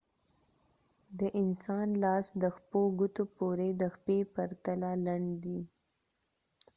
د انسان لاس د ښپو ګوتو پوري د پښې په پرتله لنډ دی